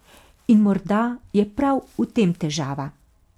In morda je prav v tem težava.